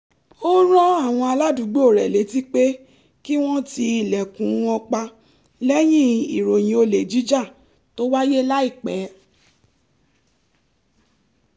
ó rán àwọn aládùúgbò rẹ̀ létí pé kí wọ́n ti ilẹ̀kùn wọn pa lẹ́yìn ìròyìn olè jíjà tó wáyé láìpẹ́